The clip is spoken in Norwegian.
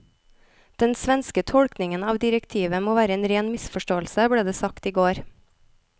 Den svenske tolkningen av direktivet må være en ren misforståelse, ble det sagt i går.